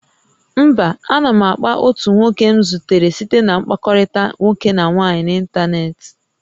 Mba, a na m akpa otu nwoke m zutere site na mkpakọrịta nwoke na nwaanyị n'ịntanetị